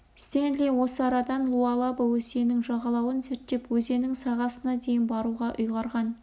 стенли осы арадан луалаба өзенінің жағалауын зерттеп өзеннің сағасына дейін баруға ұйғарған